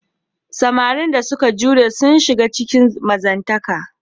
Samarin da suka jure sun shiga cikin mazantaka.